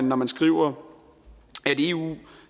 når man skriver at eu